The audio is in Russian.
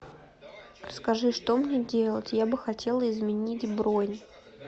скажи что мне делать я бы хотела изменить бронь